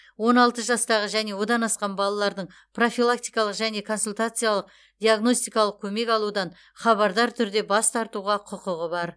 он алты жастағы және одан асқан балалардың профилактикалық және консультациялық диагностикалық көмек алудан хабардар түрде бас тартуға құқығы бар